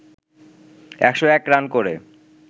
১০১ run করে